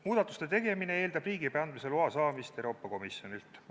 Muudatuste tegemine eeldab riigiabi andmise loa saamist Euroopa Komisjonilt.